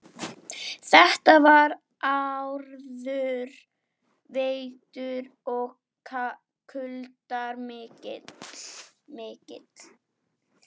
Þetta var harður vetur og kuldar miklir.